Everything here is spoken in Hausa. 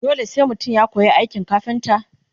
dole sai mutum ya koya aikin kafinta?